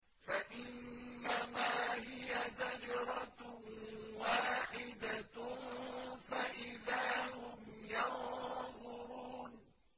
فَإِنَّمَا هِيَ زَجْرَةٌ وَاحِدَةٌ فَإِذَا هُمْ يَنظُرُونَ